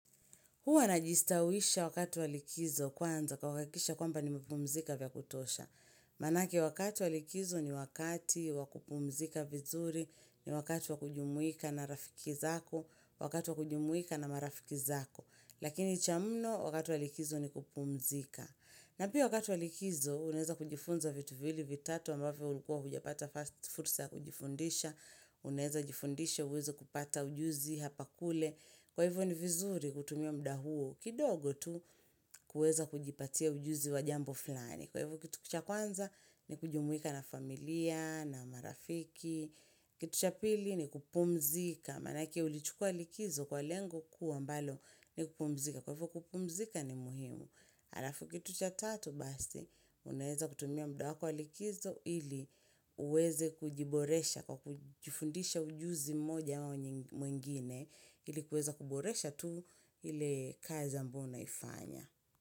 Huwa najistawisha wakati walikizo kwanza kwa kuhakikisha kwamba ni miepumzika vya kutosha. Manake wakati walikizo ni wakati wakupumzika vizuri ni wakati wakujumuika na rafikizako, wakati wakujumuika na marafikizako. Lakini chamno wakati walikizo ni kupumzika. Na pia wakati walikizo unaeza kujifunza vitu viwili vitatu ambavyo ulikua huja pata first fursa ya kujifundisha, unaeza jifundisha uweze kupata ujuzi hapa kule. Kwa hivyo ni vizuri kutumia mda huo kidogo tu kueza kujipatia ujuzi wa jambo fulani. Kwa hivyo kitu cha kwanza ni kujumuika na familia, na marafiki. Kitu cha pili ni kupumzika. Manake ulichukua likizo kwa lengo kuu ambalo ni kupumzika. Kwa hivyo kupumzika ni muhimu. Alafu kitu cha tatu basi, unaeza kutumia mda wako wa likizo ili uweze kujiboresha kwa kujifundisha ujuzi moja au mwengine ili kueza kuboresha tu ile kazi ambayo unaifanya.